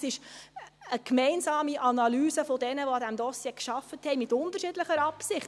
Das ist eine gemeinsame Analyse derer, die an diesem Dossier gearbeitet haben, mit unterschiedlicher Absicht.